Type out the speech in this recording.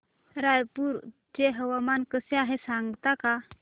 रायपूर चे हवामान कसे आहे सांगता का